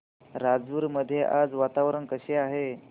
राजूर मध्ये आज वातावरण कसे आहे